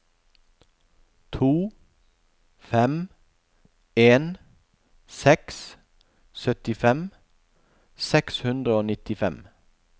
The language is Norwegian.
to fem en seks syttifem seks hundre og nittifem